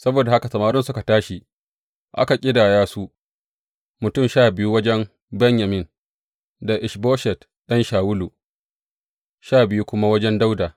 Saboda haka samarin suka tashi aka ƙidaya su, mutum sha biyu wajen Benyamin da Ish Boshet ɗan Shawulu, sha biyu kuma wajen Dawuda.